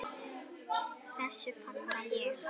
Þessu fagna ég.